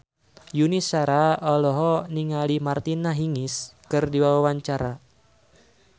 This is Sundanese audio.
Yuni Shara olohok ningali Martina Hingis keur diwawancara